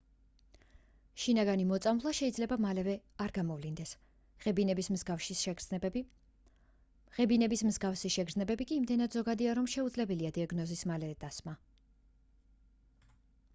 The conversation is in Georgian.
შინაგანი მოწამვლა შეიძლება მალევე არ გამოვლინდეს ღებინების მსგავსი შგრძნებები კი იმდენად ზოგადია რომ შეუძლებელია დიაგნოზის მალევე დასმა